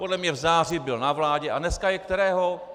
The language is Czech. Podle mě v září byl na vládě - a dneska je kterého?